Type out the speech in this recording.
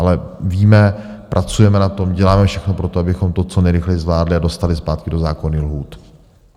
Ale víme, pracujeme na tom, děláme všechno pro to, abychom to co nejrychleji zvládli a dostali zpátky do zákonných lhůt.